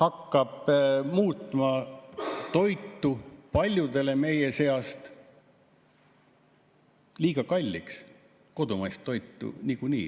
hakkab muutma toitu paljudele meie seast liiga kalliks, kodumaist toitu niikuinii.